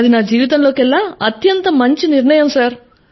అది నా జీవితంలోకెల్లా అత్యంత మంచి నిర్ణయం సర్